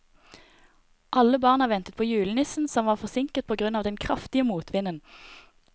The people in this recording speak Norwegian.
Alle barna ventet på julenissen, som var forsinket på grunn av den kraftige motvinden.